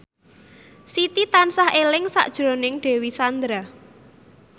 Siti tansah eling sakjroning Dewi Sandra